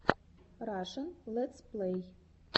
рашн летсплей